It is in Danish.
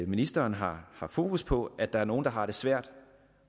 ministeren har fokus på at der er nogle der har det svært